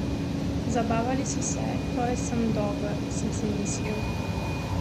Zabavali so se, torej sem dober, sem si mislil.